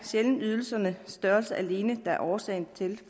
ydelsernes størrelse alene der er årsag til at